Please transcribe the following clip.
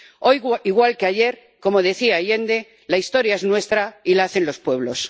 Hoy igual que ayer, como decía Allende, la historia es nuestra y la hacen los pueblos.